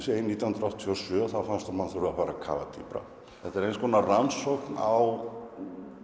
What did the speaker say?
nítján hundruð áttatíu og sjö þá fannst honum hann þurfa að kafa dýpra þetta er eins konar rannsókn á